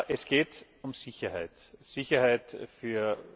Es geht um Sicherheit Sicherheit für